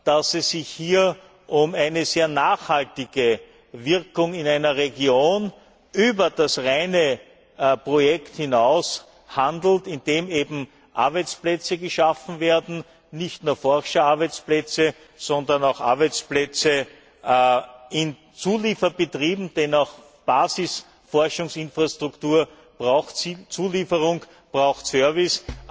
dass es sich hier um eine sehr nachhaltige Wirkung in einer Region über das reine Projekt hinaus handelt, indem eben Arbeitsplätze geschaffen werden, nicht nur Forscherarbeitsplätze, sondern auch Arbeitsplätze in Zulieferbetrieben, denn auch Basisforschungsinfrastruktur braucht Zulieferung und Service.